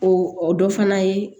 O dɔ fana ye